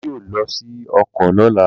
bàbá yíò ló sì oko lola.